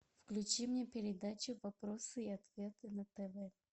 включи мне передачу вопросы и ответы на тв